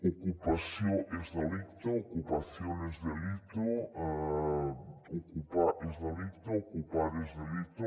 ocupació és delicte ocupación es delito ocupar és delicte ocupar es delito